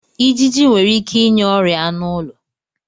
Ijiji nwere ike inye ọrịa anụ ụlọ.